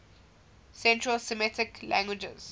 central semitic languages